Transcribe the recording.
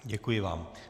Děkuji vám.